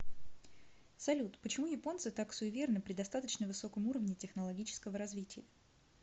салют почему японцы так суеверны при достаточно высоком уровне технологического развития